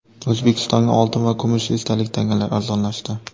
O‘zbekistonda oltin va kumush esdalik tangalar arzonlashdi.